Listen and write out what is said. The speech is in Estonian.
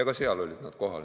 Ka seal olid huvirühmad kohal.